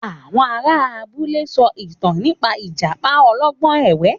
Àwọn ará abúlé sọ ìtàn Ìjàpá olọ́gbọ́n ẹ̀wẹ́